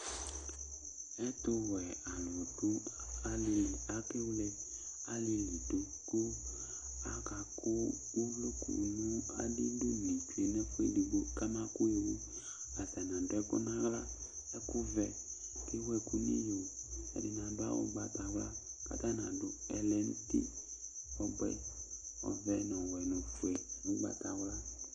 Ɛtʋwɛalu ɖu ali, akewle alìlí ɖu Akaku ovloku ŋu aɖiɖʋni ɖu ŋu ɛfʋɛ ɛɖigbo kamakʋ tɔwu Ataŋi aɖu ɛku ŋu aɣla ɛku vɛ kʋ ewu ɛku ŋu iɣo Ɛɖìní aɖu awu ʋgbatawla kʋ ataŋi aɖu ɛlɛnuti ɔvɛ, ɔwɛ ŋu ɔfʋe ŋu ʋgbatawla